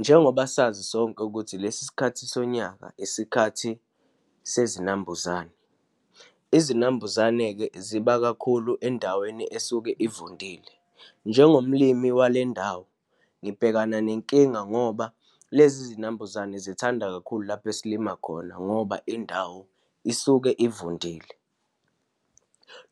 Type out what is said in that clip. Njengoba sazi sonke ukuthi lesi sikhathi sonyaka isikhathi sezinambuzane. Izinambuzane-ke ziba kakhulu endaweni esuke ivundile. Njengomlimi walendawo, ngibhekana nenkinga ngoba lezi zinambuzane zithanda kakhulu lapho esilimala khona, ngoba indawo isuke ivundile.